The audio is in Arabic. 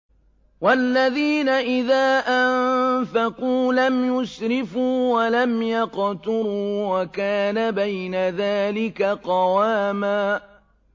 وَالَّذِينَ إِذَا أَنفَقُوا لَمْ يُسْرِفُوا وَلَمْ يَقْتُرُوا وَكَانَ بَيْنَ ذَٰلِكَ قَوَامًا